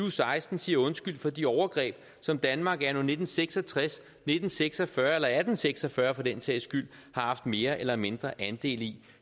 og seksten siger undskyld for de overgreb som danmark anno nitten seks og tres nitten seks og fyrre eller atten seks og fyrre for den sags skyld har haft mere eller mindre andel i